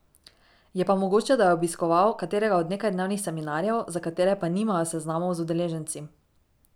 Je pa mogoče, da je obiskoval katerega od nekajdnevnih seminarjev, za katere pa nimajo seznamov z udeleženci.